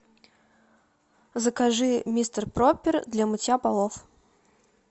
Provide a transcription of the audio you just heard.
закажи мистер пропер для мытья полов